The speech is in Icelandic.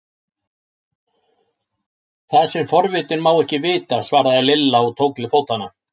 Það sem forvitinn má ekki vita! svaraði Lilla og tók til fótanna.